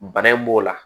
Bana in b'o la